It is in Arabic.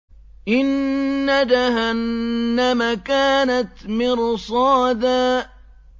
إِنَّ جَهَنَّمَ كَانَتْ مِرْصَادًا